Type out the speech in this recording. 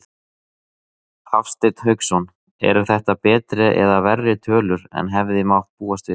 Hafsteinn Hauksson: Eru þetta betri eða verri tölur en hefði mátt búast við?